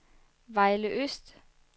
Vejle Øst